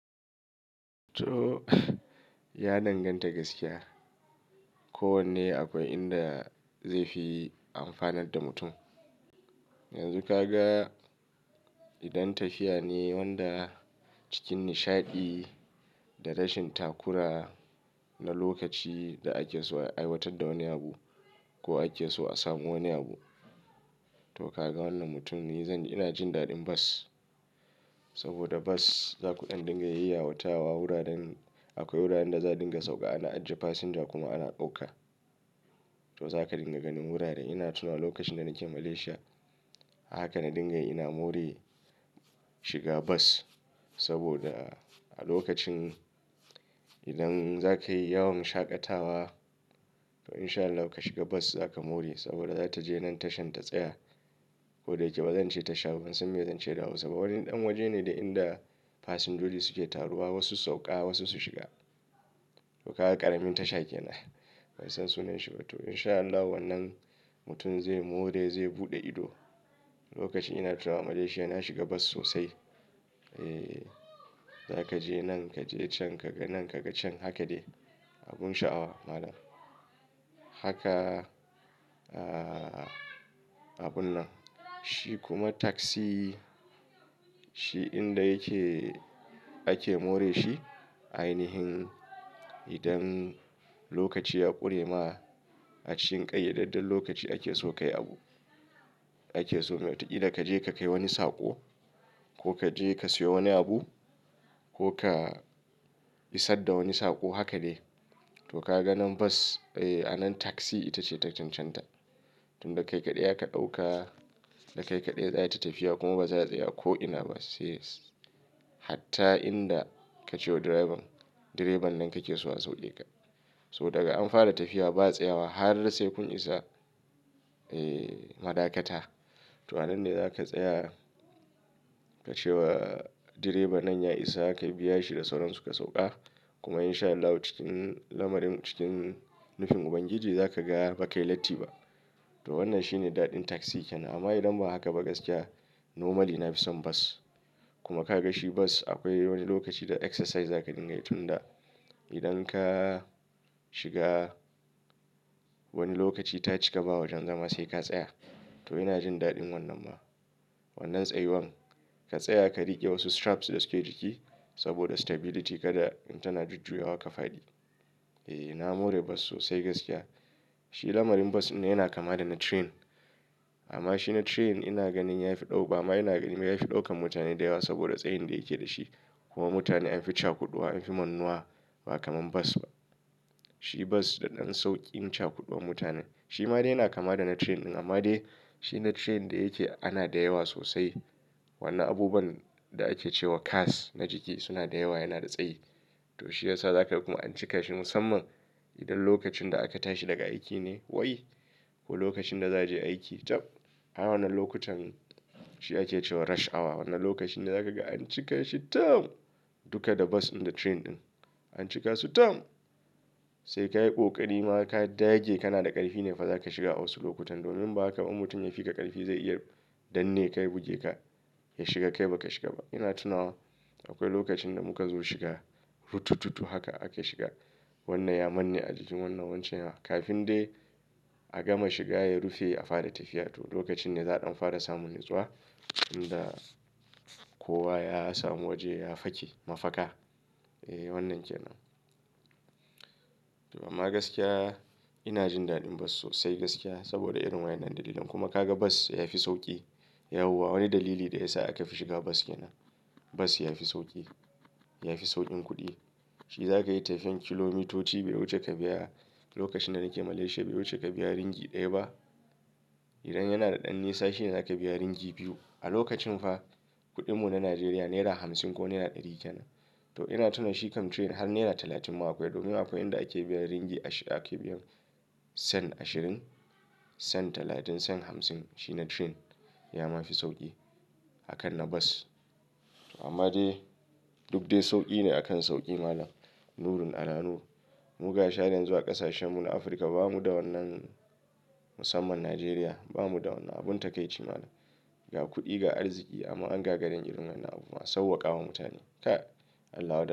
To, ya danganta gaskiya. Ko wanne akwai inda zai fi amfanar da mutum. Yanzu ka ga idan tafiya ne wanda cikin nishaɗi da rashin takura na lokaci da ake so a aiwatar da wani abu ko ake so a samu wani abu. To ka ga wannan mutumin, zan yi, ina jin daɗin bas saboda bas za ku ɗan dinga yayyawatawa wuraren. Akwai wuraren da za dinga sauka ana ajiye fasinja kuma ana ɗauka. To za ka dinga ganin wurare. Ina tuna lokacin da nake Malaysia, haka na dingayi ina more shiga bas saboda a lokacin idan za ka yi yawon shaƙatawa to in sha Allah ka shiga bas za ka more saboda za ta je nan tashan ta tsaya. Ko da yake ba zan ce tasha ba, ban san me zan ce da hausa ba saboda wani ɗan waje ne da inda fasinjoji suke taruwa, wasu su sauka wasu su shiga. To ka ga ƙaramin tasha kenan. Bansan sunan shi ba. To in sha Allah wannan mutum zai more, zai buɗe ido. Lokacin ina tuna Malaysia na shiga bas sosai. E, za ka je nan, ka je can, ka ga nan, ka ga can. Haka dai. Abun sha'awa malam. Haka, ah, abun nan. Shi kuma taxi shi inda yake ake more shi ainihin idan lokaci ya ƙure ma a cikin ƙayyadadden lokaci ake so kayi abu. Ake so me? Ta ida ka je ka kai wani saƙo ko ka je ka siyo wani abu ko ka isar da wani saƙo haka dai. To ka ga nan bas, eh a nan taxi ita ce ta chanchanta. Tun da kai kaɗai aka ɗauka, da kai kaɗai za ta tafiya kuma ba za ta tsaya ko ina ba sai hatta inda kace wa direban, direban nan kake so a sauke ka. So daga an fara tafiya ba tsayawa har sai kun isa, eh, madakata. To, ananne ne za ka tsaya ka ce wa direba nan ya isa haka ka biya shi da sauransu ka sauka. Kuma in sha Allah cikin lamarin cikin nufin Ubangiji za ka ga ba ka yi latti ba. To wannan shi ne daɗin taxi kenan. Amma idan ba haka ba gaskiya normally na fi son bas. Kuma ka ga shi bas akwai wani lokaci da exercise za ka dinga yi tun da idan ka shiga wani lokaci ta cika ba wajen zama sai ka tsaya. To ina jin daɗin wannan ma. Wannan tsayuwan ka tsaya ka riƙe wasu straps da suke jiki saboda stability kada in tana jujjuya wa ka fadi. E, ina more bas sosai gaskiya. Shi lamarin bas dinne yana kama da na train. Amma shi na train ina ganin ya fi ɗauka amma ina ganin ya fi ɗaukan mutane da yawa saboda tsayin da yake da shi. Kuma mutane an fi cakuɗuwa, an fi mannuwa ba kamar bas ba. Shi bas da ɗan sauƙin cakuɗuwan mutanen. Shi ma dai yana kama da na train ɗin amma dai shi na train da yake ana da yawa sosai. Wannan abubuwan da ake cewa cask na jiki suna da yawa yana da tsayi. To shi yasa za ka kuma an cika shi musamman idan lokacin da aka tashi daga aiki ne wai ko lokacin da za je aiki tab. A wannan lokutan shi ake cewa rush hour. Wannan lokacin da za ka ga an cika shi tam duka da bas da train ɗin. An cika su tam sai ka yi ƙoƙari ma ka dage kana da ƙarfi ne fa za ka shiga a wasu lokutan domin inba haka ba mutum ya fi ka ƙarfi zai iya danne ka ya buge ka ya shiga kai ba ka shiga ba. Ina tuna akwai lokacin da muka zo shiga rutututu haka aka shiga. Wannan ya manne a jikin wannan wancan yara kafin dai a gama shiga ya rufe a fara tafiya. To lokacin ne za'a ɗan fara samun nutsuwa tunda kowa ya samu waje ya fake mafaka. E wannan ke nan. To amma gaskiya ina jin daɗin bas sosai gaskiya saboda irin wa innan dalilin. Kuma ka ga bas ya fi sauƙi. Yawwa wani dalili da ya sa aka fi shiga bas yana bas ya fi sauƙi. Ya fi sauƙin kuɗi. In za ka yi tafiyar kilomitoci bai wuce ka biya lokacin da nake Malaysia bai wuce ka biya ringi ɗaya ba. Idan yana da ɗan nisa shi ne za ka biya ringi biyu. A lokacin fa kuɗin mu na Najeriya naira hamsin ko naira ɗari kenan. To ina tuna shi kam train har naira talatin ma akwai domin akwai inda ake biyan ringi ashirin ake biyan sen ashirin, sen talatin, sen hamsin. Shi na train ya ma fi sauƙi akan na bas. Amma dai duk dai sauƙi ne akan sauƙi malam. Nurin alannu. Muga sharan zuwa ƙasashen mu na Afirka ba mu da wannan musamman Najeriya ba mu da wannan abun takaici malam. Ga kuɗi, ga arziki amma an ga gari yn irin wannan abubuwan sawwaƙawa mutane. Kai, Allah wadai.